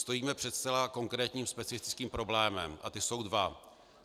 Stojíme před zcela konkrétními specifickými problémy a ty jsou dva.